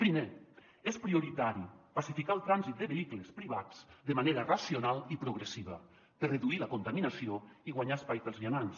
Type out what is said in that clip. primer és prioritari pacificar el trànsit de vehicles privats de manera racional i progressiva per reduir la contaminació i guanyar espai per als vianants